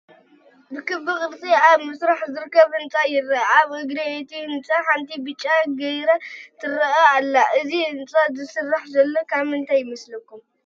ብክቢ ቅርፂ ኣብ ምስራሕ ዝርከብ ህንፃ ይረአ፡፡ ኣብ እግሪ እቲ ህንፃ ሓንቲ ብጫ ግሪደር ትረአ ኣላ፡፡ እዚ ህንፃ ዝስራሕ ዘሎ ናይ ምንታይ ይመስለኩም?